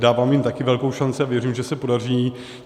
Dávám jim také velkou šanci a věřím, že se podaří.